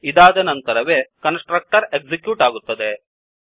ಇದಾದ ನಂತರವೇ constructor execute ಆಗುತ್ತದೆ